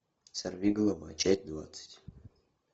сорви голова часть двадцать